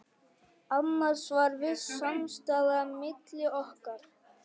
Annars var viss samstaða milli okkar